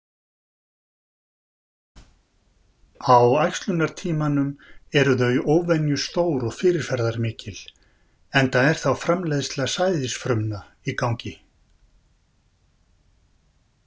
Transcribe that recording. Á æxlunartímanum eru þau óvenju stór og fyrirferðamikil enda er þá framleiðsla sæðisfrumna í gangi.